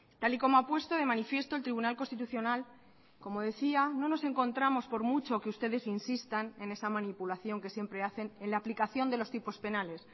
tal y como ha puesto de manifiesto el tribunal constitucional como decía no nos encontramos por mucho que ustedes insistan en esa manipulación que siempre hacen en la aplicación de los tipos penales